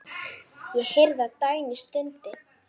Ég heyrði að Dagný stundi.